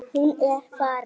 Hún er farin.